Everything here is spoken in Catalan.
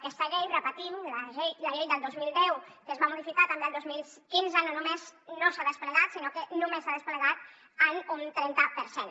aquesta llei ho repetim la llei del dos mil deu que es va modificar també el dos mil quinze no només no s’ha desplegat sinó que només s’ha desplegat en un trenta per cent